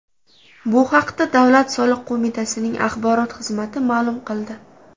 Bu haqda Davlat soliq qo‘mitasining axborot xizmati ma’lum qildi .